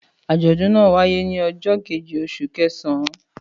Àjọ̀dún náà wáyé ní ọjọ́ kejì oṣù kẹsàn-án.